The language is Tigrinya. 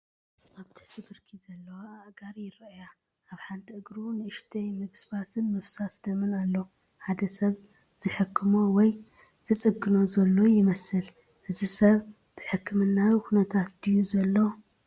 ኣብ ትሕቲ ብርኪ ዘለዋ ኣእጋር ይረኣያ። ኣብ ሓንቲ እግሩ ንእሽቶ ምብስባስን ምፍሳስ ደምን ኣሎ። ሓደ ሰብ ዝሕክሞ ወይ ዝጽግኖ ዘሎ ይመስል። እዚ ሰብ ብሕክምናዊ ኩነታት ድዩ ዘሎ?